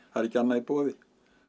það er ekki annað í boði